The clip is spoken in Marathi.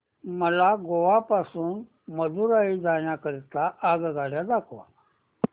मला गोवा पासून मदुरई जाण्या करीता आगगाड्या दाखवा